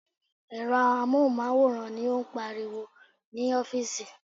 Èrò amóhùnmáwòrán ni ó ń pariwo ní ọ́fíìsì.